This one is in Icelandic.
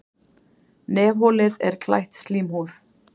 Nefholið er klætt slímhúð.